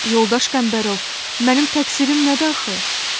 Yoldaş Qəmbərov, mənim təqsirim nədə axı?